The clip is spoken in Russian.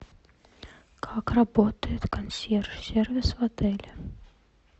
как работает консьерж сервис в отеле